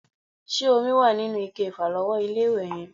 Ṣé omi wà nínú ike ìfàlọ́wọ́ ilé-ìwẹ̀ yẹn?